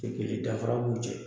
U te kelen ye danfara b'u cɛ